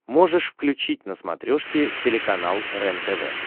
можешь включить на смотрешке телеканал рентв